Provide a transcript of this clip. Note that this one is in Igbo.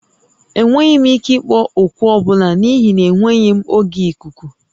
Enweghị m ike ịkpọ oku ọ bụla n'ihi na enweghị m oge ikuku